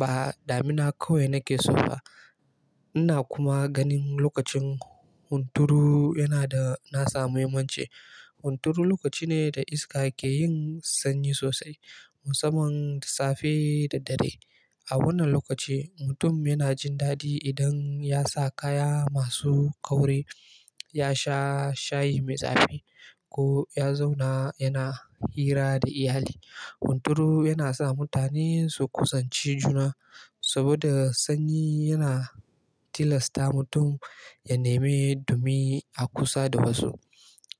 ba damina kawai nake so ba. Ina kuma ganin lokacin hunturu yana da nasa muhimmanci. Hunturu lokaci ne da iska ke yin sanyi sosai musamman da safe da dare. A wannan lokaci mutum yana jin dadi idan ya sa kaya masu kauri, ya sha shayi mai zafi ko ya zauna yana hira da iyali. Hunturu yana sa mutane su kusanci juna saboda sanyi yana tilasta mutum ya neme dumi a kusa da wasu.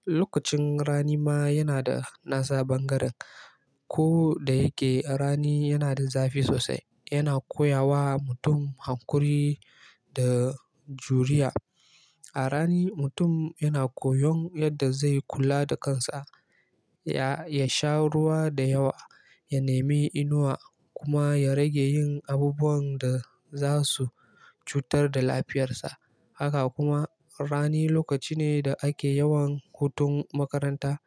Lokacin rani ma yana da nasa bangaren. Ko da yake rani yana da zafi sosai, yana koya wa mutum hankuri da juriya. A rani mutum yana koyon yadda zai kula da kansa, ya sha ruwa da yawa, ya neme inuwa kuma ya rage yin abubuwan da za su cutar da lafiyarsa. Haka kuma rani lokaci ne da ake yawan hutun makaranta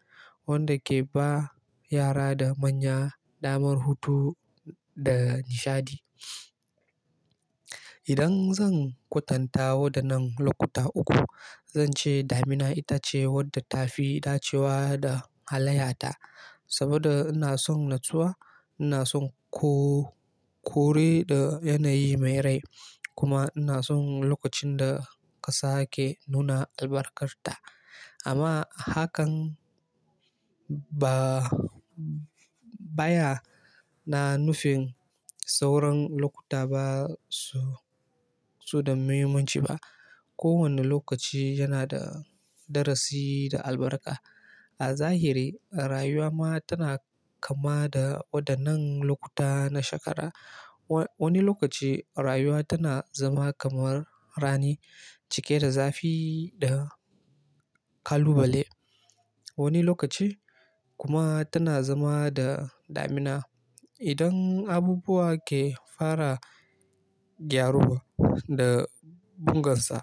wanda ke ba yara da manya damar hutu da nishaɗi. Idan zan kwatanta waɗannan lokuta uku, zan ce damina ita ce wadda tafi dacewa da halayyata. Saboda ina son natsuwa, ina son kore da yanayi mai rai kuma ina son lokacin da ƙasa ke nuna albarkarta. Amma hakan ba ya nufin sauran lokuta ba su da muhimmanci ba. Kowane lokaci yana da darasi da albarka. A zahiri rayuwa ma tana kama da waɗannan lokuta na shekara. Wani lokaci rayuwa tana zama kamar rani, cike da zafi da kalubale. Wani lokaci kuma tana zama da damina idan abubuwa ke fara gyaruwa da bungarsa.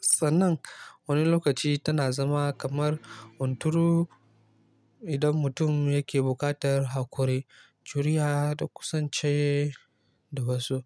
Sannan wani lokaci tana zama kamar hunturu idan mutum yake buƙatar hankuri, juriya da kusance da wasu.